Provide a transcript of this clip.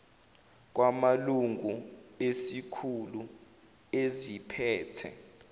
kwamalungu ezikhulu eziphethe